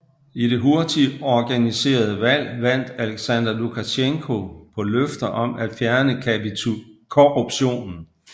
I det hurtigt organiserede valg vandt Aleksandr Lukasjenko på løfter om at fjerne korruptionen